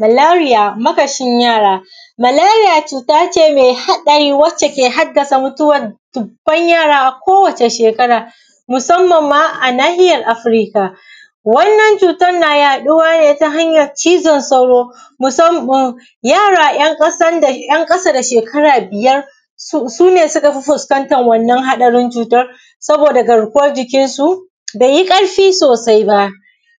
Maleriya makashin yara, maleriya cuta ce mai haɗari, wacce ke haddasa mutuwan dubban yara a kowace shekara, musamman ma a nahiyar afrika. Wannan cutan na yaɗuwa ne ta hanyar cizon sauro, musamman, yara yan ƙasan da, yan ƙasa da shekara biyar su ne suka fi fuskan wannna haɗari cutan, saboda garkuwan jikinsu beya ƙarfi sosai ba.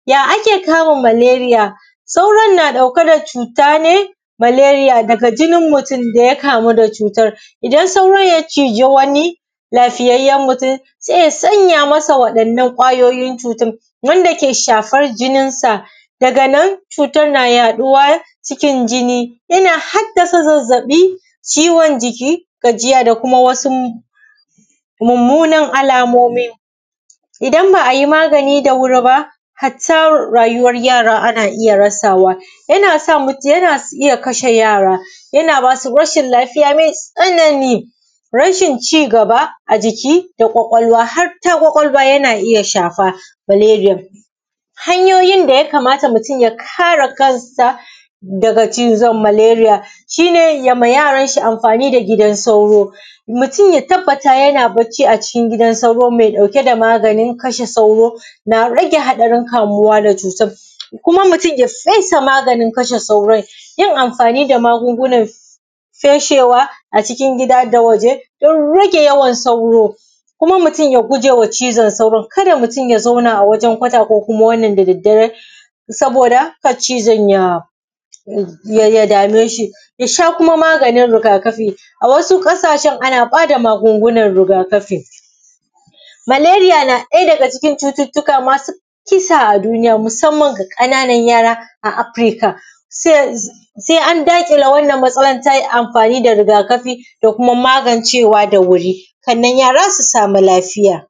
Ya ake kama maleriya? Sauron na ɗauka da cuta ne maleriya daga jinin mutum daya kamu da cutar, idan sauron ya ciji wani lafiyayyen mutum sai ya sanya masa waɗannna ƙwayoyin cutan, wanda ke shifar jinin sa, daga nan cutan na yaɗuwa cikin jini. Yana haddasa zazzaɓi, ciwon jiki, gajiya da kuma wasu mummunan alomomi, idan ba’a magani da wuri ba, hatta rayuwar yara ana iya rasawa. Yana sa, yana iya kashe yara, yana basu rashin lafiya mai tsanani, rashin ci gaba a jiki da ƙwaƙwalwa, harta ƙwaƙwalwa yana iya shafa ,maleriyan. Hanyoyin da ya kamata mutum ya kare kansa daga cizon maleriya: Shi ne yema yaranshi amfani da gidan sauro, mutum ya tabbata yana barci a cikin gidan sauro mai ɗauke da maganin kashe sauro, na rage haɗarin kamuwa da cutan. Kuma mutum ya fesa maganin kashe sauro, yin amfani da magungunan feshewa a cikin gida da waje don rage yawan sauro. Kuma mutum ya gujewa cizon sauron, kada mutum ya zauna a wajen kwata ko kuma wannan da dare, saboda kar cizon ya dame shi. yasha kuma maganin rigakafi, a wasu ƙasashen ana bada magungunan rigakafi. Maleriya na ɗaya daga cikin cututukan masu kısa a duniya, musamman ga ƙananan yara a afrika, sai an daƙile wannan matsalan ta amfani da rigakafi da kuma magancewa da wuri, ƙannan yara su samu lafiya.